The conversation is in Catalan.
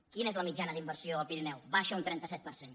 quina és la mitjana d’inversió al pirineu baixa un trenta set per cent